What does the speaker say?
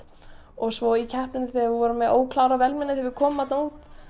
svo í keppninni þegar við vorum með óklárað vélmenni þegar við komum þarna út